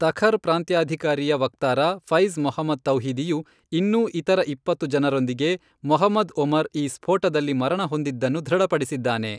ತಖರ್ ಪ್ರಾಂತ್ಯಾಧಿಕಾರಿಯ ವಕ್ತಾರ ಫೈಜ್ ಮೊಹಮ್ಮದ್ ತೌಹಿದಿಯು, ಇನ್ನೂ ಇತರ ಇಪ್ಪತ್ತು ಜನರೊಂದಿಗೆ ಮೊಹಮ್ಮದ್ ಒಮರ್ ಈ ಸ್ಫೋಟದಲ್ಲಿ ಮರಣಹೊಂದಿದ್ದನ್ನು ದೃಢಪಡಿಸಿದ್ದಾನೆ.